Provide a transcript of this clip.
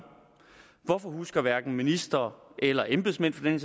hvorfor husker hverken minister eller embedsmænd for den